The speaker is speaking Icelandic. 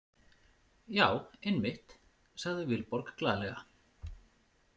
Já, einmitt, sagði Vilborg glaðlega.